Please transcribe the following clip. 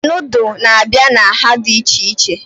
Nudụ na-abịa na nhá dị iche iche